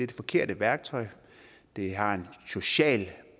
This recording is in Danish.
det forkerte værktøj det har en social